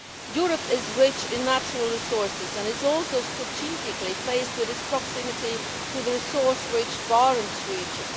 Europe is rich in natural resources and is also strategically placed with its proximity to the resource rich Barents region.